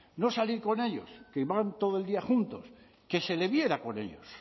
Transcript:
no salir con ellos que van todo el día juntos que se le viera con ellos